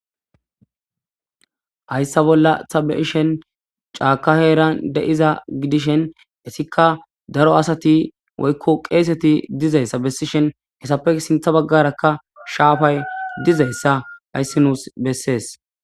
Hayssa bolla ta be'ashen caaka heeran de'iza gidishen isikka daro asati woykko qeeseti diza issa bessishen he issape sintta baggarakka shaafay diza issa hayssi nuusi bessees.